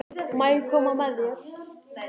Má ég koma með þér?